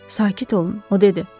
Sakit olun, o dedi.